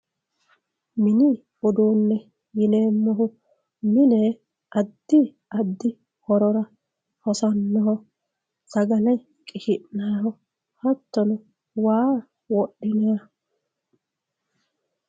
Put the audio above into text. mini uduunne yineemmohu mine addi addi horora hosannoha sagakle qishi'nanniho hattono waa wodhinanniho.